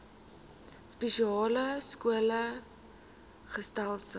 spesiale skole gesetel